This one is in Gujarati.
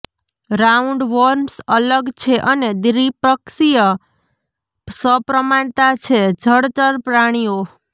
રાઉન્ડવોર્મ્સ અલગ છે અને દ્વિપક્ષીય સપ્રમાણતા છે જળચર પ્રાણીઓ